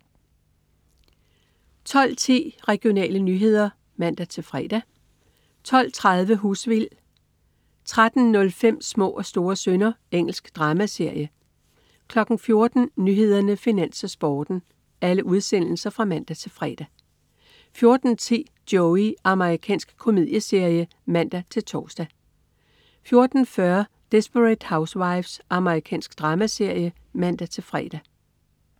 12.10 Regionale nyheder (man-fre) 12.30 Husvild (man-fre) 13.05 Små og store synder. Engelsk dramaserie (man-fre) 14.00 Nyhederne, Finans, Sporten (man-fre) 14.10 Joey. Amerikansk komedieserie (man-tors) 14.40 Desperate Housewives. Amerikansk dramaserie (man-fre)